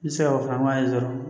N tɛ se ka o fana ye dɔrɔn